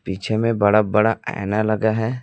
पीछे में बड़ा बड़ा आईना लगा है।